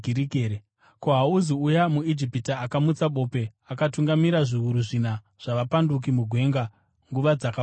Ko, hauzi uya muIjipita akamutsa bope, akatungamirira zviuru zvina zvavapanduki mugwenga nguva dzakapfuura here?”